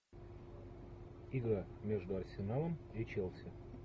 игра между арсеналом и челси